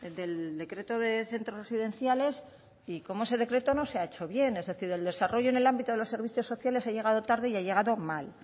del decreto de centros residenciales y cómo ese decreto no se ha hecho bien es decir el desarrollo en el ámbito de los servicios sociales ha llegado tarde y ha llegado mal